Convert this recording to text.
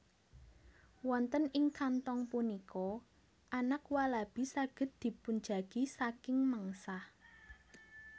Wonten ing kanthong punika anak walabi saged dipunjagi saking mengsah